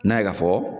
N'a ye ka fɔ